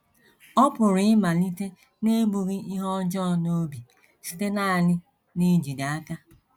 Ọ pụrụ ịmalite n’ebughị ihe ọjọọ n’obi, site nanị n’ijide aka.